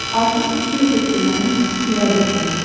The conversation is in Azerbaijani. Artıq iki ildir ki, mənim Mirabelim var.